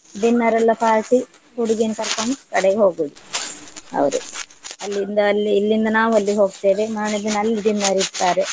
dinner ಎಲ್ಲ party ಹುಡ್ಗಿನ್ ಕರ್ಕೊಂಡ್ ಕಡೆಗ್ ಹೋಗುದು ಅವ್ರು ಅಲ್ಲಿಂದ ಅಲ್ಲಿ ಇಲ್ಲಿಂದ ನಾವು ಅಲ್ಲಿಗ್ ಹೋಗ್ತೇವೆ ಮಾರ್ನೆ ದಿನ ಅಲ್ಲಿ dinner ಇಡ್ತಾರೆ.